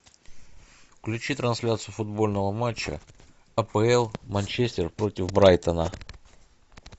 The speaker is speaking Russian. включи трансляцию футбольного матча апл манчестер против брайтона